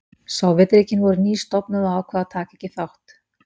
Sovétríkin voru nýstofnuð og ákváðu að taka ekki þátt.